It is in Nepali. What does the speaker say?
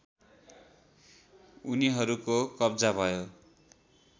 उनीहरूको कब्जा भयो